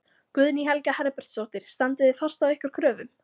Guðný Helga Herbertsdóttir: Standið þið fast á ykkar kröfum?